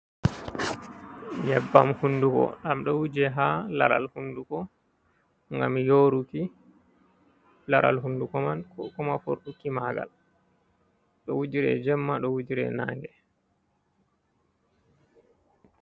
Nyebbam hunduko ɗam ɗo wuje ha laral hunduko ngam yoruki laral hunduko man, koma furɗuki maagal ɗo wujire jemma, ɗo wujire nange.